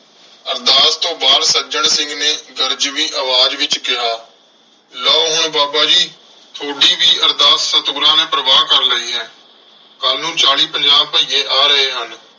ਅਰਦਾਸ ਤੋਂ ਬਾਅਦ ਸੱਜਣ ਸਿੰਘ ਨੇ ਗਰਜਵੀਂ ਆਵਾਜ਼ ਵਿਚ ਕਿਹਾ। ਲਓ। ਹੁਣ ਬਾਬਾ ਜੀ ਥੋਡੀ ਵੀ ਅਰਦਾਸ ਸਤਿਗੁਰਾਂ ਨੇ ਪ੍ਰਵਾਨ ਕਰ ਲਈ ਹੈ ਕੱਲ ਨੂੰ ਚਾਲੀ ਪੰਜਾਹ ਭਈਏ ਆ ਰਹੇ ਹਨ।